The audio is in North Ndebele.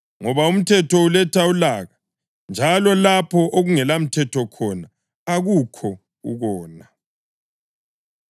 ngoba umthetho uletha ulaka. Njalo lapho okungelamthetho khona akukho ukona.